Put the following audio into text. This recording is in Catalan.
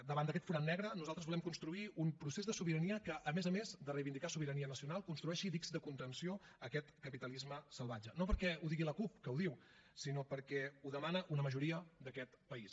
davant d’aquest forat negre nosaltres volem construir un procés de sobirania que a més a més de reivindicar sobirania nacional construeixi dics de contenció a aquest capitalisme salvatge no perquè ho digui la cup que ho diu sinó perquè ho demana una majoria d’aquest país